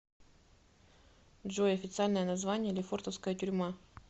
джой официальное название лефортовская тюрьма